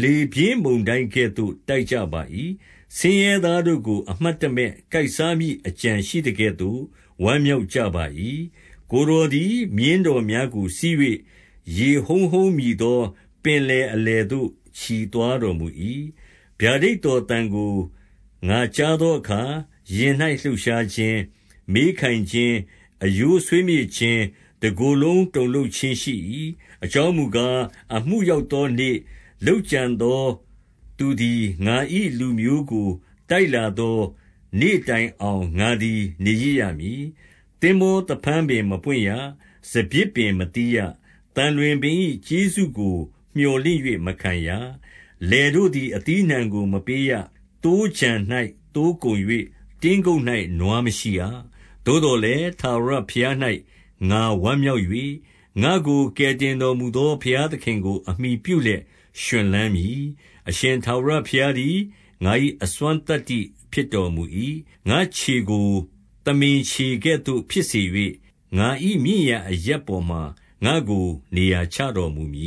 လေပြင်းမုန်တိုင်းကဲ့သို့ တိုက်ကြပါ၏။ ဆင်းရဲသားတို့ကို အမှတ်တမဲ့ ကိုက်စားမည့်အကြံရှိသကဲ့ သို့ ဝမ်းမြောက်ကြပါ၏။ 15 ကိုယ်တော်သည် မြင်းတော်များကို စီး၍၊ ရေ ဟုန်းဟုန်းမြည်သော ပင်လယ်အလယ်သို့ ချီသွားတော် မူ၏။ 16 ဗျာဒိတ်တော်သံကို ငါကြားသောအခါ ရင်၌ လှုပ်ရှားခြင်း၊ မေးခိုင်ခြင်း၊ အရိုးဆွေးမြေ့ခြင်း၊ တကိုယ် လုံးတုန်လှုပ်ခြင်းရှိ၏။ အကြောင်းမူကား၊ အမှုရောက် သောနေ့၊ လုပ်ကြံသောသူသည် ငါ၏လူမျိုးကို တိုက်လာ သောနေ့တိုင်အောင် ငါသည် နေရစ်ရမည်။ 17 သင်္ဘောသဖန်းပင် မပွင့်ရ၊ စပျစ်ပင်မသီးရ၊ သံလွင်ပင်၏ကျေးဇူးကို မြော်လင့်၍မခံရ၊ လယ်တို့သည် အသီးအနှံကို မပေးရ၊ သိုးခြံ၌ သိုးကုန်၍ တင်းကုပ်၌ နွားမရှိရ။ 18 သို့သော်လည်း၊ ထာဝရဘုရား၌ ငါဝမ်းမြောက် ၍၊ ငါ့ကို ကယ်တင်တော်မူသော ဘုရားသခင်ကို အမှီပြု လျက် ရွှင်လန်းမည်။ 19 အရှင်ထာဝရဘုရားသည် ငါ၏အစွမ်းသတ္တိဖြစ် တော်မူ၏။ ငါ့ခြေကို သမင်ခြေကဲ့သို့ ဖြစ်စေ၍၊ ငါ၏မြင့် ရာ အရပ်ပေါ်မှာ ငါ့ကို နေရာချတော်မူမည